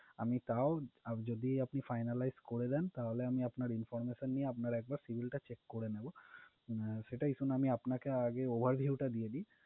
আমি তাও যদি আপনি finalize করে দেন, তাহলে আমি আপনার information নিয়ে একবার আপনার civil টা check করে নেবো, আহ সেটা issue না আমি আপনাকে overview দিয়ে দিই।